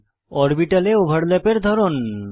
অরবিটালে ওভারল্যাপের ধরন